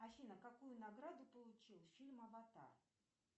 афина какую награду получил фильм аватар